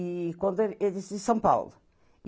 E quando ele... Eles de São Paulo.